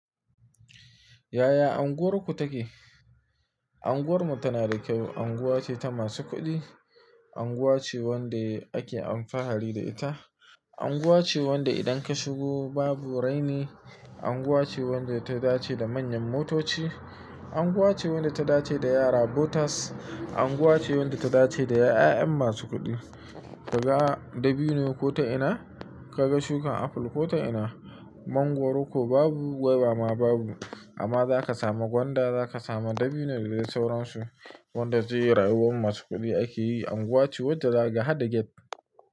Yaya anguwarku take? Anguwarmu tana da kyau. Unguwa ce ta masu kuɗi, anguwa ce wanda ake alfahari da ita, anguwa ce wanda idan ka shigo babu raini, anguwa ce wadda ta dace da manyan motoci, anguwa ce wanda ta dace da yara botars, anguwa ce wanda ta dace da ƴaƴan masu kuɗi. Kaga dabino ko ta ina? Kaga shukan apple ko ta ina? Mangwaro ko babu gwaiba ma babu. Amma za ka samu gwanda, za ka samu dabino da dai sauransu wanda zai yi rayuwan masu kuɗi ake yi. Anguwa ce wanda za kaga hada gate.